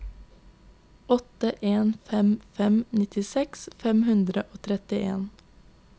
åtte en fem fem nittiseks fem hundre og trettien